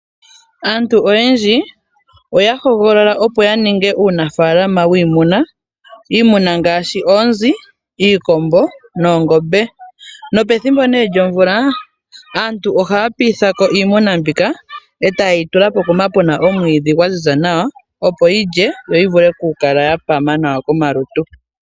Aantu oyendji oya hogolola opo ya ninge uunafaalama wiimuna, iimuna ngaashi oonzi, iikombo noongombe. Nopethimbo nee lyomvula aantu ohaya piitha ko iimuna mbika e taye yi tula pokuma puna omwiidhi gwa ziza nawa, opo yilye yo yi vule oku kala ya pama nawa komalutu.